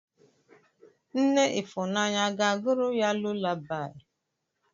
Nne ifunanya aga-agụụrụ ya lulabaị?